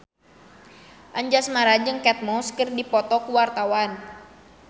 Anjasmara jeung Kate Moss keur dipoto ku wartawan